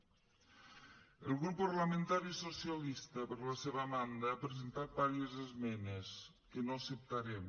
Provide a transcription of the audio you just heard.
el grup parlamentari socialista per la seva banda ha presentat diverses esmenes que no acceptarem